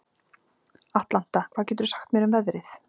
Atlanta, hvað geturðu sagt mér um veðrið?